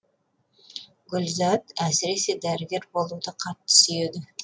гүлзат әсіресе дәрігер болуды қатты сүйеді